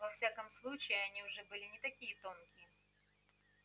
во всяком случае они уже были не такие тонкие